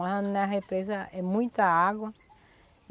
Mas na represa é muita água.